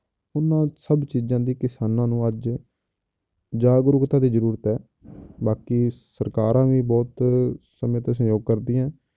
ਉਹਨਾਂ ਸਭ ਚੀਜ਼ਾਂ ਦੀ ਕਿਸਾਨਾਂ ਨੂੰ ਅੱਜ ਜਾਗਰੂਕਤਾ ਦੀ ਜ਼ਰੂਰਤ ਹੈ ਬਾਕੀ ਸਰਕਾਰਾਂ ਵੀ ਬਹੁਤ ਸਮੇਂ ਤੇ ਸਹਿਯੋਗ ਕਰਦੀਆਂ ਹੈ।